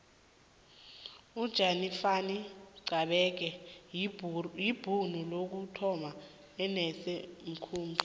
ujanifani xebekhe yibhuru lokuthoma elenza umkhumbi